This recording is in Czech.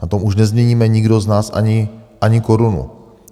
Na tom už nezměníme nikdo z nás ani korunu.